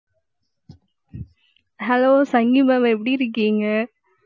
hello சங்கி mam எப்படி இருக்கீங்க?